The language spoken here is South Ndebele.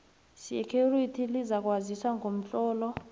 security lizakwazisa ngomtlolo